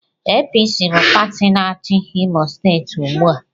APC bụ pati na-achi Imo steeti ugbu a.